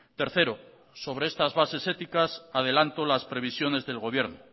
tercero sobre estas bases éticas adelanto las previsiones del gobierno